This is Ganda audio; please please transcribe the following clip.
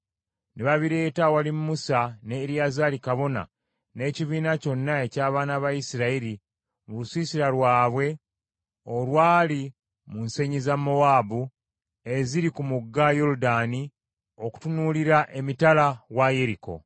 ne babireeta awali Musa ne Eriyazaali kabona n’ekibiina kyonna eky’abaana ba Isirayiri mu lusiisira lwabwe olwali mu nsenyi za Mowaabu eziri ku mugga Yoludaani okutunuulira emitala wa Yeriko.